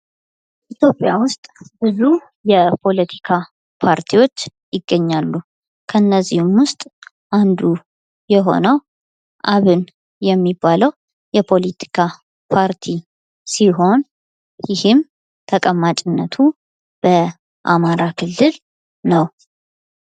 ኢትዮጵያ ውስጥ ብዙ የፖለቲካ ፓርቲዎች ይገኛሉ። ከእነዚህም ውስጥ አንዱ የሆነው አብን የሚባለው የፖለቲካ ፓርቲ ሲሆን ይህም ተቀማጭነቱ በአማራ ክልል ነው።